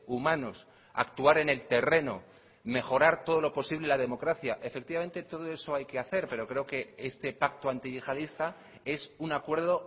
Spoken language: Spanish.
humanos actuar en el terreno mejorar todo lo posible la democracia efectivamente todo eso hay que hacer pero creo que este pacto antiyihadista es una acuerdo